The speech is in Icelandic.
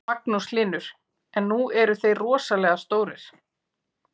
Magnús Hlynur: En nú eru þeir rosalega stórir?